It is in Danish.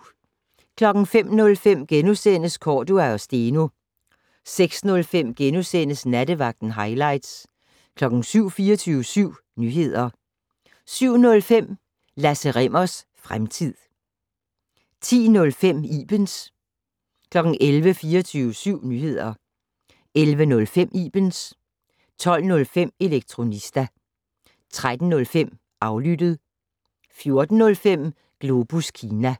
05:05: Cordua & Steno * 06:05: Nattevagten - hightlights * 07:00: 24syv Nyheder 07:05: Lasse Rimmers fremtid 10:05: Ibens 11:00: 24syv Nyheder 11:05: Ibens 12:05: Elektronista 13:05: Aflyttet 14:05: Globus Kina